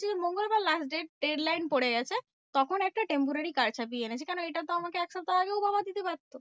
মঙ্গলবার last date red line পরে গেছে তখন একটা temporary card ছাপিয়ে এনেছে। কেন এইটা তো আমাকে এক সপ্তাহ আগেও বাবা দিতে পারতো?